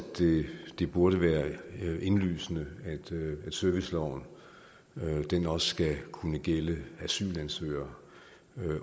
det burde være indlysende at serviceloven også skal kunne gælde asylansøgere